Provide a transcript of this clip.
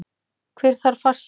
Hver þarf farsíma?